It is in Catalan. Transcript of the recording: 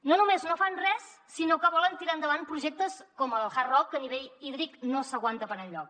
no només no fan res sinó que volen tirar endavant projectes com el hard rock que a nivell hídric no s’aguanta per enlloc